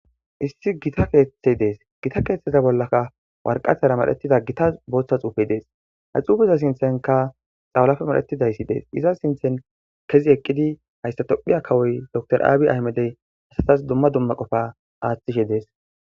Issi gita keeththey dees gita keeththeza bollaka warqatara madhetida gita booththa xuufey dees hay xuufeza sinthenka xawalafe madhetidayssi dees iza sinthen kezi eqqidi hayssa tophiya kawoy door aabi ahmedey asatas dumma dumma qofa aaththishe dees.